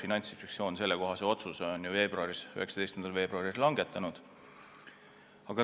Finantsinspektsioon langetas sellekohase otsuse 19. veebruaril.